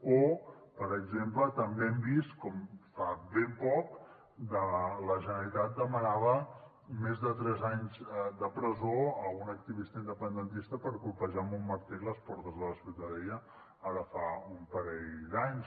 o per exemple també hem vist com fa ben poc la generalitat demanava més de tres anys de presó a un activista independentista per colpejar amb un martell les portes de la ciutadella ara fa un parell d’anys